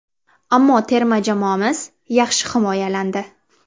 Ammo terma jamoamiz yaxshi himoyalandi.